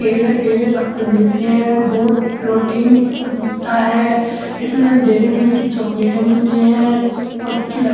सब कुछ मिलते हैं। दूध प्रोटीन सब कुछ मिलता है। इसमें डेरीमिल्क की चॉकलेटे मिलती हैं। बोहोत अच्छी लगती--